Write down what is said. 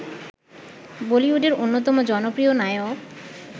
বলিউডের অন্যতম জনপ্রিয় নায়ক